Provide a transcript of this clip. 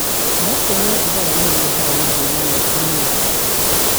No kũnyua thigara nĩ ĩrehaga mathĩna maingĩ mũno.